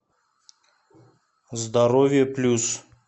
здоровье плюс